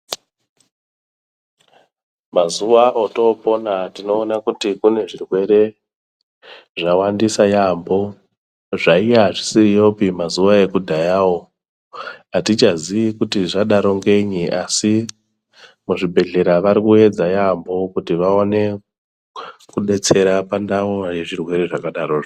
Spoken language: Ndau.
Mazuwa otoopona tinoona kuti kune zvirwere zvawandisa yaampho zvaiya zvisiyopi mazuwa ekudhayawo, atichazii kuti zvadaroo ngenyi asi muzvibhedhlera varikuedza yaampho kuti vaone kudetsera pandawa yezvirwere zvakadarozvo.